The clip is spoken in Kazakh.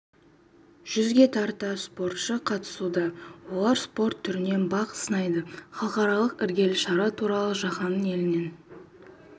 жүзге тарта спортшысы қатысуда олар спорт түрінен бақ сынайды халықаралық іргелі шара туралы жаһанның елінен